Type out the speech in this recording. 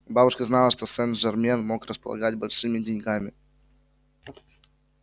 бабушка знала что сен-жермен мог располагать большими деньгами